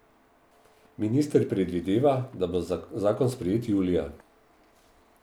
Minister predvideva, da bo zakon sprejet julija.